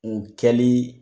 O kɛlii